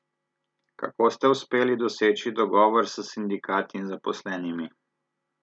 Kako ste uspeli doseči dogovor s sindikati in zaposlenimi?